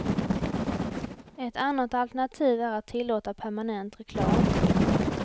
Ett annat alternativ är att tillåta permanent reklam.